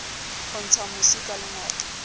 ho ntsha mosi ka lengope